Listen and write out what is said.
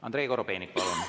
Andrei Korobeinik, palun!